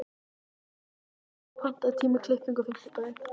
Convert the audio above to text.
Jörvar, pantaðu tíma í klippingu á fimmtudaginn.